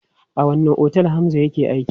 A wanne otel Hamza yake aiki?